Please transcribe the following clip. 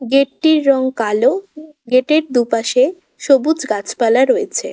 Gate -টির রং কালো। গেট -এর দুপাশে সবুজ গাছপালা রয়েছে।